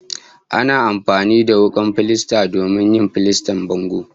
Ana amfani da wukar filasta domin yin filastar bango